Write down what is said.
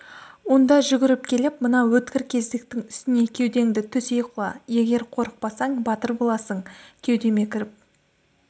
онда жүгіріп келіп мына өткір кездіктің үстіне кеудеңді төсей құла егер қорықпасаң батыр боласың кеудеме кіріп